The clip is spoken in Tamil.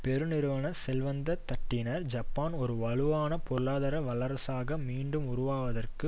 பெரு நிறுவன செல்வந்த தட்டினர் ஜப்பான் ஒரு வலுவான பொருளாதார வல்லரசாக மீண்டும் உருவாவதற்கு